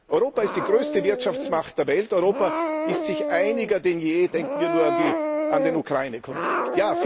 Europa ist die größte Wirtschaftsmacht der Welt, Europa ist sich einiger denn je denken wir nur an den Ukraine Konflikt.